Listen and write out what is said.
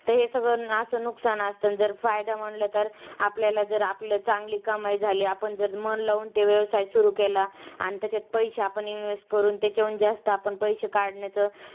ते हे सगळं नुकसान असतं. तर फायदा म्हंटलं तर आपल्याला जर आपलं चांगली कमाई झाली, आपण जर मन लावून ते व्यवसाय सुरू केला, आणि त्याच्यात पैशे आपण invest करून त्याचे जास्त आपण पैशे काढण्याचं